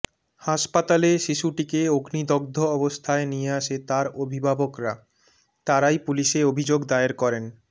হাসপাতালে শিশুটিকে অগ্নিদগ্ধ অবস্থায় নিয়ে আসে তার অভিভাবকরা তারাই পুলিশে অভিযোগ দায়ের করেন